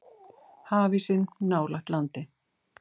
Hafísinn nálægt landi